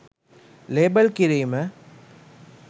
label කිරීම